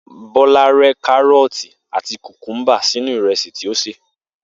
Bó̩lá ré̩ káró̩ò̩tì àti kùkúḿbà sínú ìrè̩sì tí ó sè